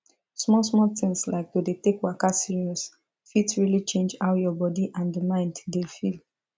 small small things like to dey take waka serious fit really change how your body and mind dey feel